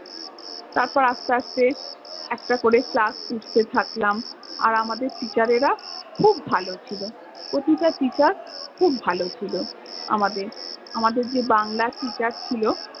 তারপর আস্তে আস্তে, একটা করে class উঠতে থাকলাম আর আমাদের teacher রেরা খুব ভালো ছিল, প্রতিটা teacher খুব ভালো ছিল আমাদের, আমাদের যে বাংলা teacher ছিল